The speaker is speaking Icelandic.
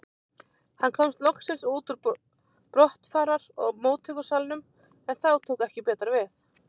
Hann komst loksins út úr brottfarar og móttökusalnum, en þá tók ekki betra við.